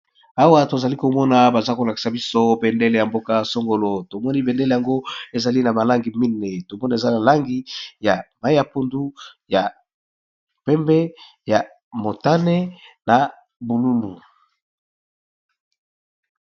Awa tozali komona baza kolakisa biso bendele ya mboka songolo tomoni bendele yango ezali na malangi mine tombona eza malangi ya mai ya pundu ya pembe ya motane na bozinga.